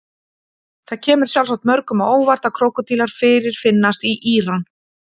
Það kemur sjálfsagt mörgum á óvart að krókódílar fyrirfinnast í Íran.